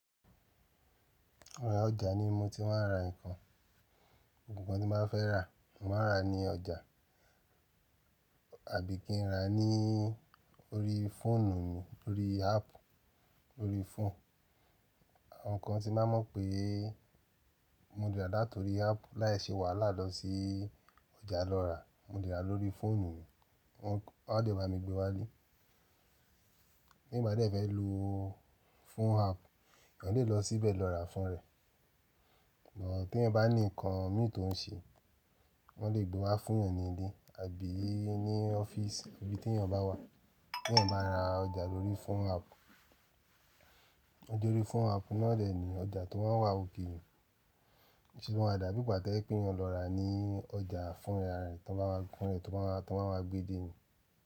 Rárá ọjà ni mo ti máa ń ra nǹkan. Ohun kan tí máa fẹ́ rà, mo máa rà á ní ọjà àbí kí n rà á nii órí fóònù mi, lórí app lórí fóònù. Àwọn kan tí máa mọ̀ pé mo le rà latorí app láì ṣe wàhálà lọ sí ọjà lọ rà, mo le rà lórí fóònù, wọ́n ó dẹ bá mi gbé wá ilé. Bí m bá dẹ́ fẹ́ lo phone app, yan lè lọ síbẹ̀ lọ rà fún rẹ̀. Ṣùgbọ́n tí èèyàn bá ní nǹkan mì tó ń ṣe, wọ́n lè gbé wá fún yan ni ilé àbí ní ọ́fíìsì ibi tí èèyàn bá wà. Tí ẹ́ bá rà ọjà lórí phone app, ọjà lórí phone app náà dẹ̀ ní ọjà tó máa wà òkèè. Ṣùgbọ́n àdápípà táí pé yóò lọ rà ní ọjà fún ra rẹ̀ tí wọ́n bá wá gbé dé ní.